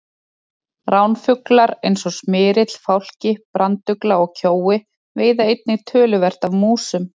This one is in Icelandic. Ránfuglar eins og smyrill, fálki, brandugla og kjói veiða einnig töluvert af músum.